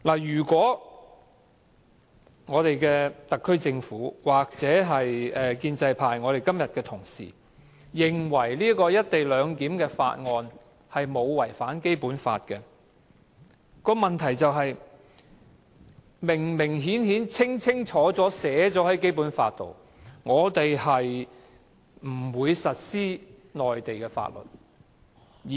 即使特區政府或建制派同事今天認為這項關乎"一地兩檢"的《條例草案》沒有違反《基本法》，但《基本法》其實清楚明確地註明香港不會實施內地法律。